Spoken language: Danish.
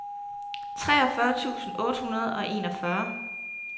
treogfyrre tusind otte hundrede og enogfyrre